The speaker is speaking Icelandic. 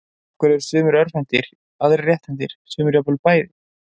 Af hverju eru sumir örvhentir, aðrir rétthentir og sumir jafnvel bæði?